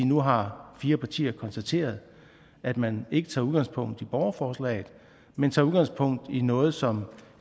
nu har fire partier konstateret at man ikke tager udgangspunkt i borgerforslaget men tager udgangspunkt i noget som